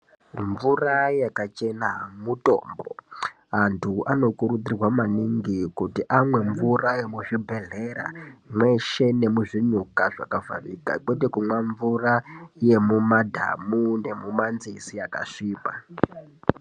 Mvura yakachena mutombo ,antu anokurudzirwa maningi kuti anwe mvura yemuzvibhedlera mweshe nemuzvinyuka zvakafanigwa kwete kunwa mvura yemumadhamu nemumanzizi akasviba.